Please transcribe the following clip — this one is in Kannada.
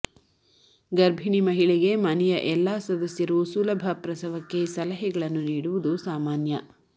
ಗರ್ಭಿಣಿ ಮಹಿಳೆಗೆ ಮನೆಯ ಎಲ್ಲಾ ಸದಸ್ಯರು ಸುಲಭ ಪ್ರಸವಕ್ಕೆ ಸಲಹೆಗಳನ್ನು ನೀಡುವುದು ಸಾಮಾನ್ಯ